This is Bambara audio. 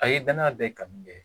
A ye danaya bɛɛ kanu bɛɛ